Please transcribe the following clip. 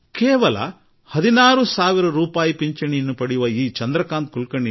ಈ ಚಂದ್ರಕಾಂತ್ ಕುಲಕರ್ಣಿಯವರಿಗೆ ಕೇವಲ 16 ಸಾವಿರ ರೂಪಾಯಿ ಪಿಂಚಣಿ ಬರುತ್ತದೆ